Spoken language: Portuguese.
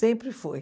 Sempre foi.